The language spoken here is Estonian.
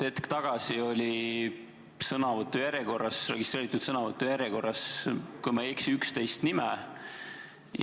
Hetk tagasi oli registreeritud sõnavõtu järjekorras, kui ma ei eksi, 11 nime.